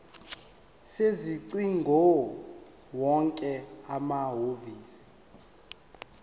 sezingcingo wonke amahhovisi